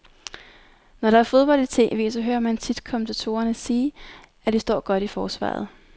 Når der er fodbold i tv, så hører man tit kommentatorerne sige, at de står godt i forsvaret.